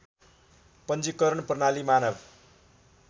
पञ्जिकरण प्रणाली मानव